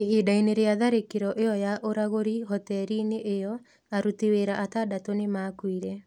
Ihinda-inĩ rĩa tharĩkĩro ĩyo ya ũragũri hoteri-inĩ ĩyo, aruti wĩra atandatũ nĩ maakuire.